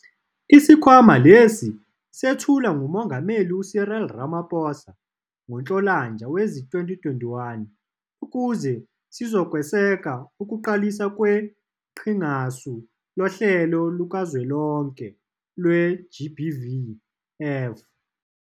Isikhwama lesi sethulwa nguMongameli u-Cyril Ramaphosa ngoNhlolanja wezi-2021, ukuze sizokweseka ukuqaliswa kweQhingasu Lohlelo Lukazwelonke lwe-GBVF.